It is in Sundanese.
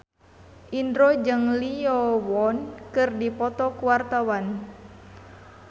Indro jeung Lee Yo Won keur dipoto ku wartawan